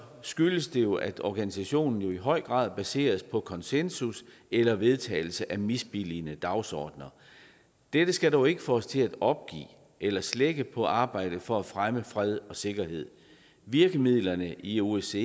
skyldes det jo at organisationen i høj grad er baseret på konsensus eller vedtagelse af misbilligende dagsordener dette skal dog ikke få os til at opgive eller slække på arbejdet for at fremme fred og sikkerhed virkemidlerne i osce